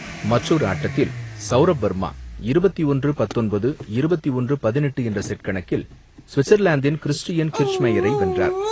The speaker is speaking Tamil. மற்றொரு ஆட்டத்தில் சௌரப் வர்மா இருபத்து ஒன்று பத்தொன்பது, இருபத்து ஒன்று பதினெட்டு என்ற செட் கணக்கில் சுவிட்சர்லாந்தின் கிறிஸ்டியன் கிர்ச்மேயரை வென்றார்.